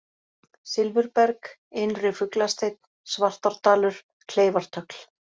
Silfurberg, Innri-Fuglasteinn, Svartárdalur, Kleifartögl